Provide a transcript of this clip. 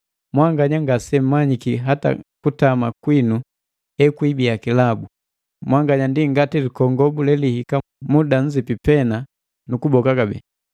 Mwanganya ngasemmanyiki hata kutama kwinu ekwibiya kilabu! Mwanganya ndi ngati likongobu lelihika muda nzipi pena nu kuboka kabee.